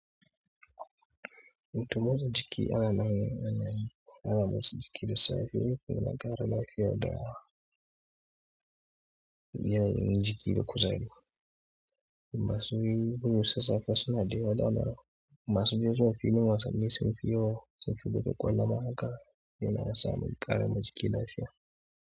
Mukan motsa jiki ana nan, ana motsa jiki da safe yana ƙara lafiya da biyan jiki da kuzari. Masu yin irin sassafe suna da yawa, dama masu dai zuwa filin wasanni sun fi yawa, sun fi buga ƙwallon maka yana sa mun ƙara ma jiki lafiya.